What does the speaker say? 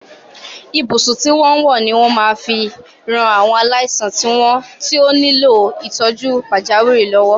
Ibùsùn tí wọ́n ń wọ́ ni wọ́n máa fi ran àwọn aláìsàn tí ó nílò ìtọ́jú pàjáwìrì lọ́wọ́.